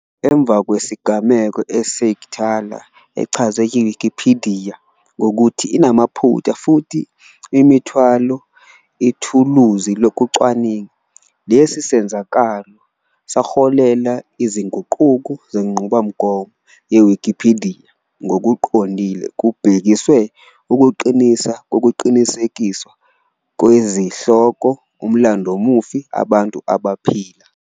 Emva kwesigameko, uSeigenthaler echazwe yiWikipidiya ngokuthi "inamaphutha futhi imithwalo ithuluzi lokucwaninga". Lesi senzakalo zaholela izinguquko zenqubomgomo yeWikipidiya, ngokuqondile kubhekiswe ukuqiniswa kokuqinisekiswa kwezihloko umlandvomufi abantu abaphila.